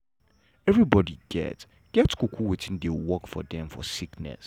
everybody get get um wetin dey work for dem for sickness